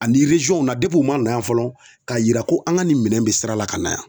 Ani na u man na yan fɔlɔ ka yira ko an ka nin minɛn bɛ sira la ka na yan.